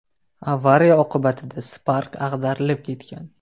Avariya oqibatida Spark ag‘darilib ketgan.